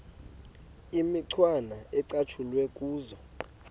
imicwana ecatshulwe kuzo